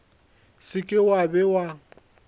se ke wa be wa